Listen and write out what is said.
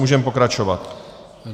Můžeme pokračovat.